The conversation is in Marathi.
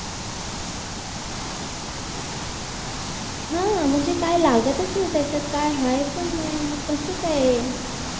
हा म्हणजे काय लागतच नाही त्याच्यात काय हाय पण नाय मग कस काय